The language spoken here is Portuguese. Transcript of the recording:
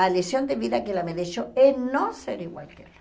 A lição de vida que ela me deixou é não ser igual a ela.